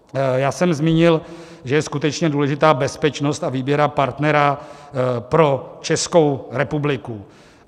Já jsem zmínil, že je skutečně důležitá bezpečnost a výběr partnera pro Českou republiku.